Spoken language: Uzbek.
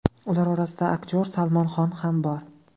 Ular orasida aktyor Salmon Xon ham bor.